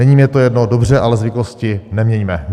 Není mi to jedno, dobře, ale zvyklosti neměňme.